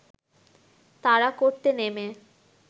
তাড়া করতে নেমে